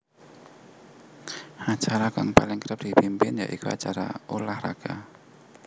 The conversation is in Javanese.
Acara kang paling kerep dipimpin ya iku acara ulah raga